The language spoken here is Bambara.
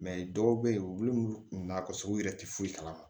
dɔw bɛ yen u bulu kunna kosɛbɛ u yɛrɛ ti foyi kalama